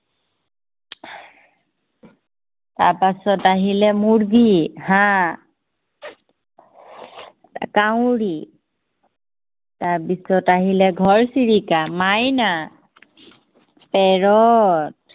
তাৰপাছত আহিলে মুৰ্গী, হাঁহ কাউৰী তাৰপিছত আহিলে ঘৰচিৰিকা, মাইনা parrot